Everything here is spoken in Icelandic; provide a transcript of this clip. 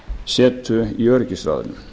setu í öryggisráðinu